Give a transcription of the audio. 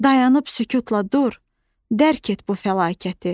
Dayanıb sükutla dur, dərk et bu fəlakəti.